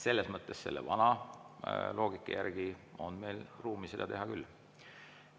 Selles mõttes selle vana loogika järgi on meil ruumi seda teha küll.